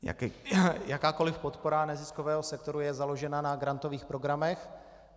Jakákoliv podpora neziskového sektoru je založena na grantových programech.